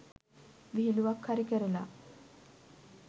විහිළුවක් හරි කරලා